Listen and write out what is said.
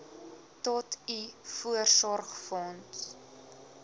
tot u voorsorgsfonds